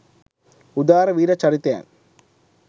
උදාර වීර චරිතයන්